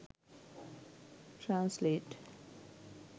translate